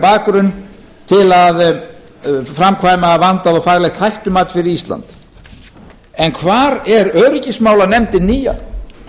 bakgrunn til að framkvæma vandað og faglegt hættumat við ísland en hvar er öryggismálanefndin nýja